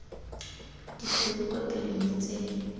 ditshweu kwa pele mme tse